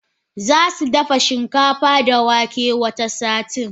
Zasu dafa shinkafa da wake wata satin.